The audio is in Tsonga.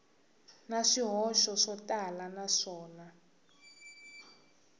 na swihoxo swo tala naswona